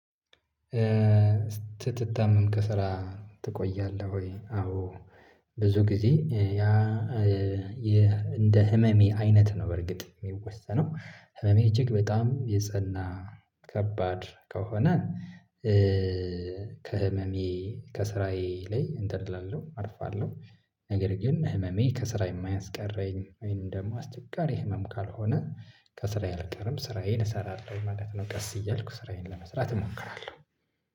ስትታመም ከስራ ትቆያለህ ወይ? አዎ ብዙ ጊዜ ያ እንደ ህመሜ አይነት ነው በርግጥ የሚወሰነው ህመሜ እጅግ በጣም የጸና ከባድ ከሆነ ከህመሜ ከስራዬ ላይ እንትን እላለሁ አርፋለሁ። ነገር ግን ህመሜ ከስራ የማያስቀረኝ ወይንም ግሞ አስቸጋሪ ህመም ካልሆነ ከስራዬ አልቀርም ስራዬን እሰራለሁ ማለት ነው። ቀስ እያልኩ ስራዬን ለመስራት እሞክራለሁ።